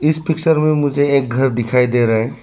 इस पिक्चर में मुझे एक घर दिखाई दे रहा --